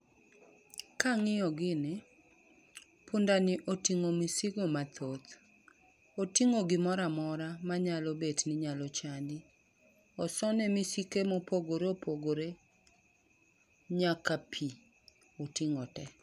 Kang'iyo gini, pundani oting'o misigo mathoth. Oting'o gimoro amora manyalo bet ni nyalo chandi. Osone misike mopogore opogore, nyaka pi, oting'o te.